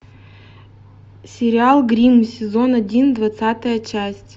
сериал гримм сезон один двадцатая часть